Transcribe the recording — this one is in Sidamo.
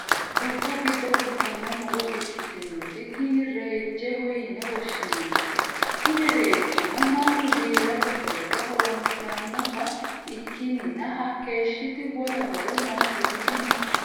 dubbu giddo fultanno muro ikkitinoti tini reejjeho yine woshshinannite. kuni reejjino mannu giirate horora horonsirannota ikkinina hakkeeshshiti wole horo noositi dinosi.